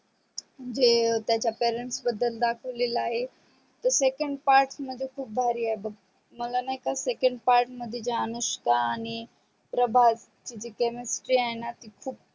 म्हणजे त्याच्या parents बदल दाखवलेल आहे second part मध्ये खूप भारी आहे बग मला नाही का second part मध्ये जे अनुष्का आणि प्रभासची जी chemistry ती खूप